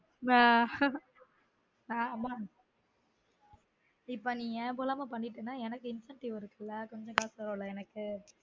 ஆஹ் ஆஹ் ஆமா இப்ப நீ ஞாபகம் இல்லாம பண்ணிட்டனா எனக்கு incentive ல கொஞ்சம் காசு வரும்ல எனக்கு